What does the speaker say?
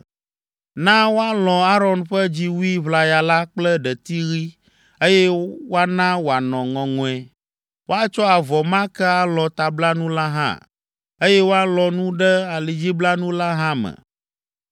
“Na woalɔ̃ Aron ƒe dziwui ʋlaya la kple ɖeti ɣi, eye woana wòanɔ ŋɔŋɔe. Woatsɔ avɔ ma ke alɔ̃ tablanu la hã, eye woalɔ̃ nu ɖe alidziblanu la hã me.